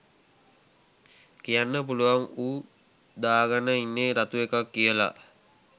කියන්න පුලුවන් ඌ දාගන ඉන්නෙ රතු එකක් කියලා